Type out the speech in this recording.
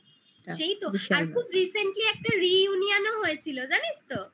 সেই তো আর খুব recently একটা reunion ও হয়েছিল জানিস তো